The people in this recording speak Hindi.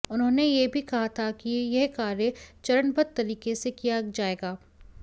उन्होंने यह भी कहा था कि यह कार्य चरणबद्ध तरीके से किया जाएगा